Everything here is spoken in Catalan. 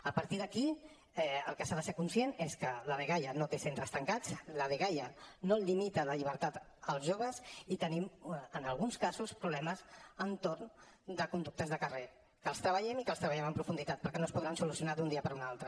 a partir d’aquí del que s’ha de ser conscient és que la dgaia no té centres tancats la dgaia no limita la llibertat als joves i tenim en alguns casos problemes entorn de conductes de carrer que hi treballem i que hi treballem en profunditat perquè no es podran solucionar d’un dia per un altre